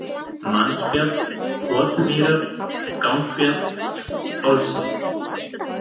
Mannsfjall, Kotmýrar, Gangfjall, Hálsinn